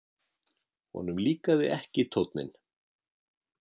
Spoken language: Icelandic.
Honum líkaði ekki tónninn.